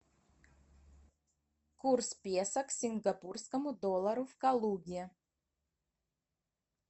курс песо к сингапурскому доллару в калуге